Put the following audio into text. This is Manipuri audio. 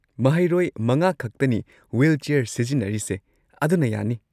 ꯃꯍꯩꯔꯣꯏ ꯃꯉꯥꯈꯛꯇꯅꯤ ꯋꯤꯜꯆꯤꯌꯥꯔ ꯁꯤꯖꯤꯟꯅꯔꯤꯁꯦ, ꯑꯗꯨꯅ ꯌꯥꯅꯤ꯫